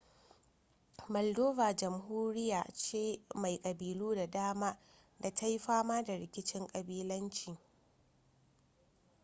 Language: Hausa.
maldova jamhuriya ce mai kabilu da dama da ta yi fama da rikicin kabilanci